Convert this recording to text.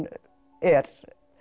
er